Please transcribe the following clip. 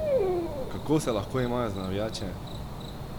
Kako se lahko imajo za navijače!